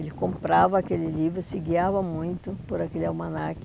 Ele comprava aquele livro, se guiava muito por aquele almanac.